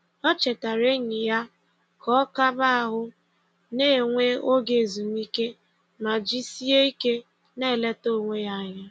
O chetara enyi ya ka ọ kaba ahụ na - enwe oge ezumike ma jisieike na - eleta onwe ya anya